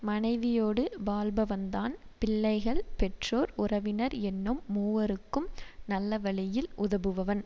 மனைவியோடு வாழ்பவன்தான் பிள்ளைகள் பெற்றோர் உறவினர் என்னும் மூவர்க்கும் நல்ல வழியில் உதவுபவன்